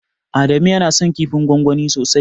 Adamu yana son kifin gwangwani sosai.